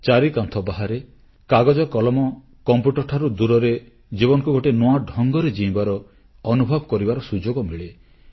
ଚାରିକାନ୍ଥ ବାହାରେ କାଗଜକଲମ କମ୍ପ୍ୟୁଟରଠାରୁ ଦୂରରେ ଜୀବନକୁ ଗୋଟିଏ ନୂଆ ଢଙ୍ଗରେ ଜୀଇଁବାର ଅନୁଭବ କରିବାର ସୁଯୋଗ ମିଳେ